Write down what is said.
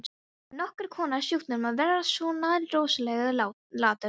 Það var nokkurs konar sjúkdómur að vera svona rosalega latur.